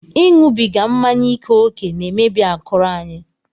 Ịṅụbiga mmanya ike ókè na-emebi akụrụ anyị